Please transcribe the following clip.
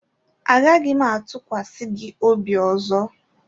Agaghị m atụkwasị gị obi ọzọ